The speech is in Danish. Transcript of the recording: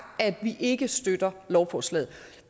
at vi ikke støtter lovforslaget